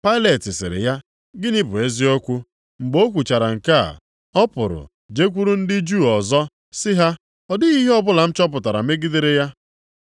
Pailet sịrị ya, “Gịnị bụ eziokwu?” Mgbe o kwuchara nke a, ọ pụrụ jekwuuru ndị Juu ọzọ sị ha, “Ọ dịghị ihe ọbụla m chọpụtara megidere ya.